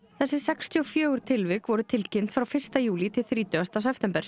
þessi sextíu og fjögur tilvik voru tilkynnt frá fyrsta júlí til þrítugasta september